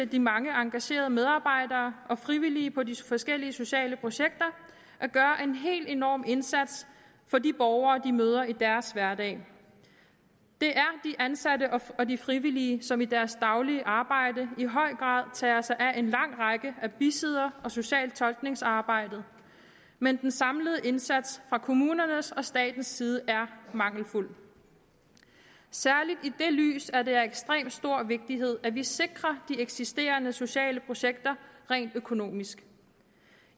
de mange engagerede medarbejdere og frivillige på de forskellige sociale projekter at gøre en helt enorm indsats for de borgere de møder i deres hverdag det er de ansatte og de frivillige som i deres daglige arbejde i høj grad tager sig af en lang række af bisidder og social og tolkningsarbejdet men den samlede indsats fra kommunernes og statens side er mangelfuld særligt i det lys er det af ekstrem stor vigtighed at vi sikrer de eksisterende sociale projekter rent økonomisk